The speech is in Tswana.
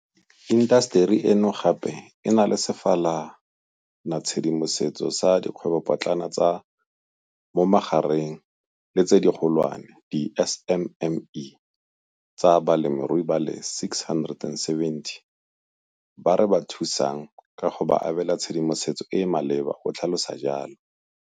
"Intaseteri eno gape e na le sefalanatshedimoso sa dikgwebopotlana, tsa mo magareng le tse digolwane, di-SMME, tsa balemirui ba le 670 ba re ba thusang ka go ba abela tshedimosetso e e maleba," o tlhalosa jalo.